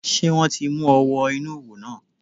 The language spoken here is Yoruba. Sé wọ́n ti mú ọ wọ inú òwò náà?